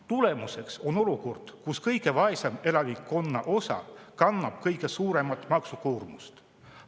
Tulemuseks on olukord, kus kõige vaesem osa elanikkonnast kannab kõige suuremat maksukoormust.